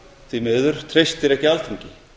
því miður treystir ekki alþingi